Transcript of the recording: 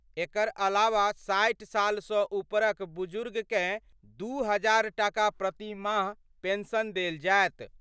एकर अलावा 60 साल स ऊपर क बुजुर्ग कए 2000 टाका प्रति माह पेंशन देल जाएत।